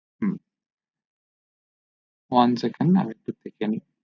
হু one scent আরেকটু দেখে নেই